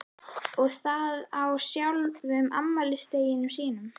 Og það á sjálfum afmælisdeginum sínum.